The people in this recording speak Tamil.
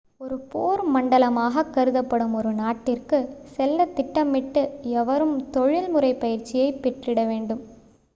ஒரு போர் மண்டலமாகக் கருதப்படும் ஒரு நாட்டிற்கு செல்லத் திட்டமிடும் எவரும் தொழிற்முறை பயிற்சியை பெற்றிட வேண்டும்